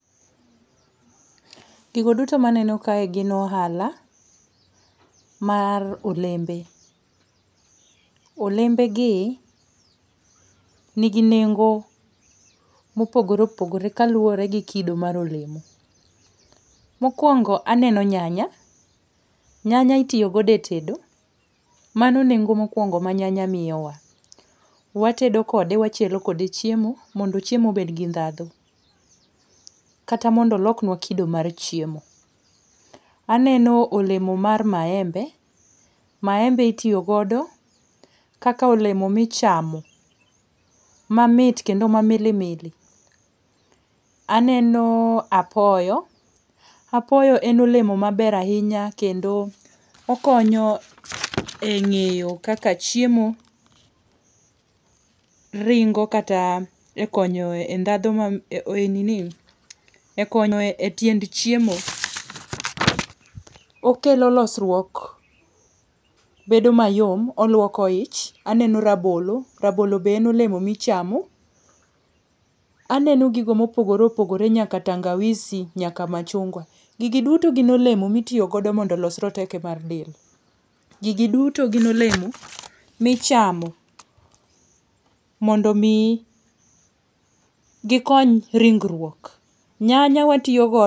Gigo duto maneno kae gin ohala mar olembe. Olembegi nigi nengo mopogore opogore kaluwore gi kido mar olemo. Mokuongo aneno nyanya, nyanya itiyo godo e tedo, mano nengo mokuongo ma nyanya miyowa. Watedo kode wachielo kode chiemo mondo chiemo obed gi ndhadhu, kata mondo olok nua kido mar chiemo. Aneno olemo mar maembe. Maembe itiyo godo kaka olemo michamo mamit kendo mamilimili. Aneno apoyo, apoyo en olemo maber ahinya kendo okonyo eng'eyo chiemo ringo kata ekonyo e ndhadhu e nini ekonyo e tiend chiemo, okelo losruok bedo mayom oluoko ich. Aneno rabolo, rabolo be en olemo michamo. Aneno gigo mopogore opogore nyaka tangawizi nyaka machungwa. Gigi duto gin olemo mitiyo goso mondo olos rateke mag del. Gigi duto gin olemo michamo mondo mi gikony ringruok nyanya watiyo godo